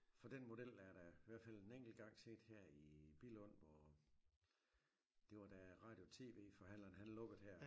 For den model er da i hvert fald en enkelt gang set her i Billund hvor det var da radio TV forhandleren han lukkede her